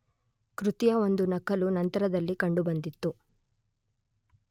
ಕೃತಿಯ ಒಂದು ನಕಲು ನಂತರದಲ್ಲಿ ಕಂಡುಬಂದಿತ್ತು